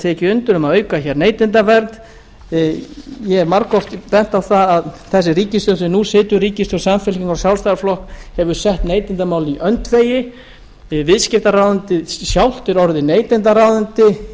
tekið undir um að auka hér neytendavernd ég hef margoft bent á það að þessi ríkisstjórn sem nú situr ríkisstjórn samfylkingar og sjálfstæðisflokks hefur sett neytendamálin í öndvegi viðskiptaráðuneytið sjálft er orðið